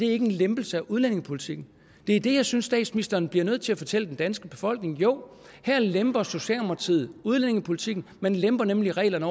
er en lempelse af udlændingepolitikken det er det jeg synes statsministeren bliver nødt til at fortælle den danske befolkning jo her lemper socialdemokratiet udlændingepolitikken man lemper nemlig reglerne